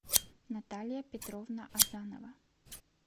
наталья петровна азанова